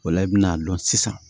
O la i bɛn'a dɔn sisan